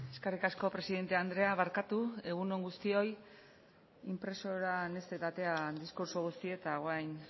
eskerrik asko presidente andrea barkatu egun on guztioi inpresorak ez zait atera diskurtso guztia eta orain